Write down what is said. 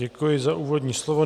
Děkuji za úvodní slovo.